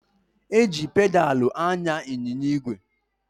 E ji pedalụ anya ịnyịnya ígwè